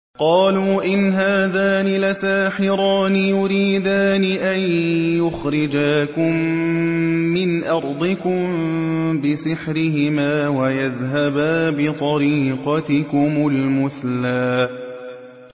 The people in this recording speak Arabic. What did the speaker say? قَالُوا إِنْ هَٰذَانِ لَسَاحِرَانِ يُرِيدَانِ أَن يُخْرِجَاكُم مِّنْ أَرْضِكُم بِسِحْرِهِمَا وَيَذْهَبَا بِطَرِيقَتِكُمُ الْمُثْلَىٰ